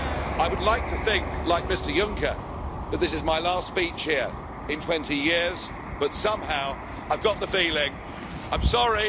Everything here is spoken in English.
I would like to think, like Mr Juncker, that this is my last speech here in 20 years, but somehow, I've got the feeling I'm sorry!